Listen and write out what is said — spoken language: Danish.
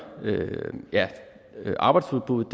arbejdsudbuddet